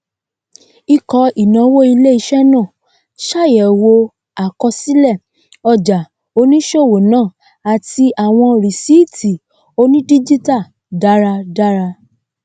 íkọ ìnáwó iléiṣẹ náà ṣàyẹwò àkọsílẹ ọjà oníṣòwò náà àti àwọn risíìtì onídíjítà dáradára